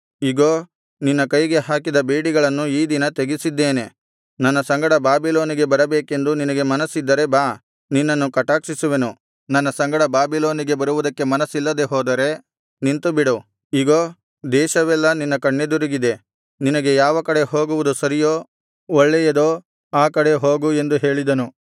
ಇಗೋ ನಿನ್ನ ಕೈಗೆ ಹಾಕಿದ ಬೇಡಿಗಳನ್ನು ಈ ದಿನ ತೆಗೆಸಿದ್ದೇನೆ ನನ್ನ ಸಂಗಡ ಬಾಬಿಲೋನಿಗೆ ಬರಬೇಕೆಂದು ನಿನಗೆ ಮನಸ್ಸಿದ್ದರೆ ಬಾ ನಿನ್ನನ್ನು ಕಟಾಕ್ಷಿಸುವೆನು ನನ್ನ ಸಂಗಡ ಬಾಬಿಲೋನಿಗೆ ಬರುವುದಕ್ಕೆ ಮನಸ್ಸಿಲ್ಲದೆ ಹೋದರೆ ನಿಂತುಬಿಡು ಇಗೋ ದೇಶವೆಲ್ಲಾ ನಿನ್ನ ಕಣ್ಣೆದುರಿಗಿದೆ ನಿನಗೆ ಯಾವ ಕಡೆ ಹೋಗುವುದು ಸರಿಯೋ ಒಳ್ಳೆಯದೋ ಆ ಕಡೆ ಹೋಗು ಎಂದು ಹೇಳಿದನು